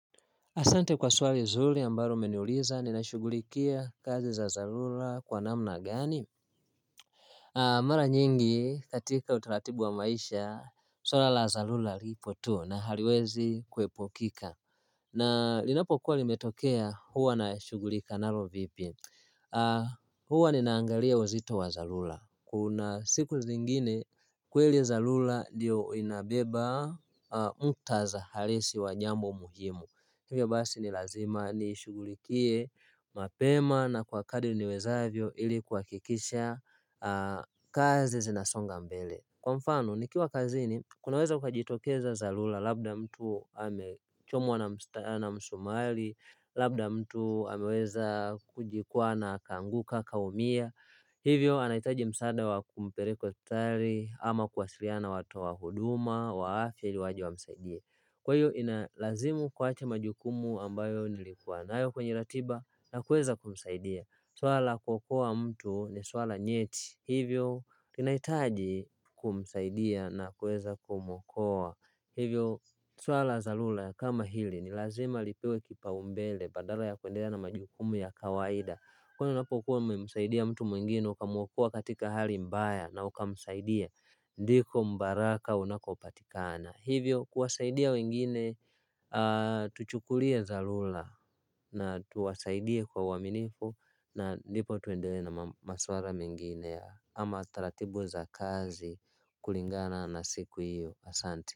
Asante kwa swali zuri ambalo umeniuliza ninashughulikia kazi za dharura kwa namna gani mara nyingi katika utaratibu wa maisha swala la dharura lipo tu na haliwezi kuepukika na linapokuwa limetokea huwa nashughulika nalo vipi huwa ninaangalia uzito wa dharura kuna siku zingine kweli dharura ndiyo inabeba muktadha halisi wa jambo muhimu hivyo basi ni lazima niishughulikie mapema na kwa kadri niwezavyo ili kuhakikisha kazi zinasonga mbele kwa mfano nikiwa kazini kunaweza kukajitokeza dharura labda mtu amechomwa na msumari labda mtu ameweza kujikwaa na akaanguka akaumia hivyo anahitaji msaada wa kumpeleka hospitali ama kuwasiliana na watu wa huduma wa afya ili waje wamsaidie kwa hiyo inalazimu kuacha majukumu ambayo nilikuwa nayo kwenye ratiba na kueza kumsaidia swala la kuokoa mtu ni swala nyeti hivyo inahitaji kumsaidia na kueza kumwokoa hivyo swala la dharura kama hili ni lazima lipewe kipaumbele badala ya kuendelea na majukumu ya kawaida kwani unapokuwa umemsaidia mtu mwingine ukamwokoa katika hali mbaya na ukamsaidia ndiko mbaraka unakopatikana hivyo kuwasaidia wengine. Tuchukulie dharura na tuwasaidia kwa uaminifu na ndipo tuendelee na maswala mengine ama taratibu za kazi kulingana na siku hiyo asante.